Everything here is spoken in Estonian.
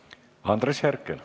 Andres Herkel.